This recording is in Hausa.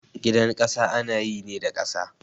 Gidan ƙasa ana yi ne da ƙasa